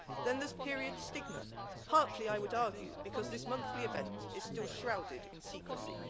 Then there's period stigma, partly, I would argue, because this monthly event is still shrouded in secrecy.